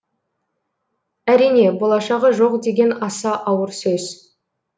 әрине болашағы жоқ деген аса ауыр сөз